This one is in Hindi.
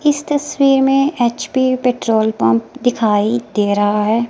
इस तस्वीर में एच_पी पेट्रोल पंप दिखाई दे रहा है।